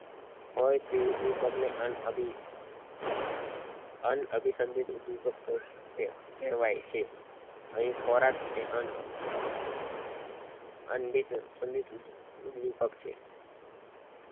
હોય તે ઉદ્વેદક ને અન્ન અભી અન્ન અભી સંદેહ ઉદ્વેદ્ક કહેવાય છે અહી ખોરાક એ અન્ન ઉદ્વેપક છે